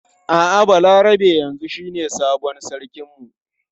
A'a Balarabe yanzu shine sabon sarkin mu.